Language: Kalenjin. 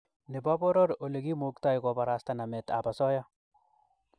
Nebo poror olekimuktoi kobarasta nametab osoya